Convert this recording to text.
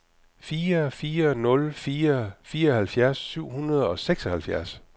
fire fire nul fire fireoghalvfjerds syv hundrede og seksoghalvfjerds